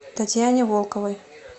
татьяне волковой